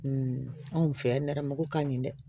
anw fɛ yan nɛrɛmugu ka ɲi dɛ